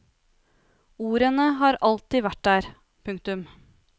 Ordene har jo alltid vært der. punktum